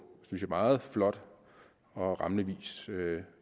meget flot og rammende vis